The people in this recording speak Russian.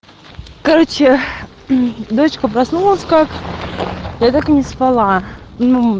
короче дочка проснулась как я так и не спала ну